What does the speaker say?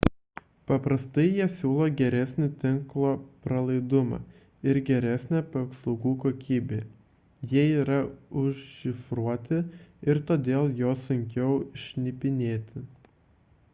paprastai jie siūlo geresnį tinklo pralaidumą ir geresnę paslaugų kokybę jie yra užšifruoti ir todėl juos sunkiau šnipinėti